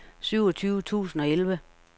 syvogtyve tusind og elleve